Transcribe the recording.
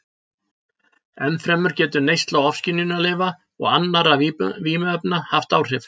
Ennfremur getur neysla ofskynjunarlyfja og annarra vímuefna haft áhrif.